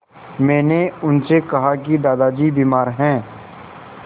मैंने उनसे कहा कि दादाजी बीमार हैं